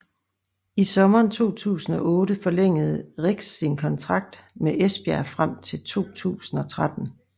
I sommeren 2008 forlængede Rieks sin kontrakt med Esbjerg frem til 2013